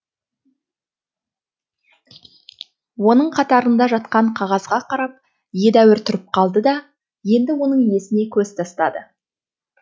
оның қатарында жатқан қағазға қарап едәуір тұрып қалды да енді оның иесіне көз тастады